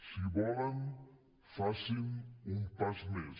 si volen facin un pas més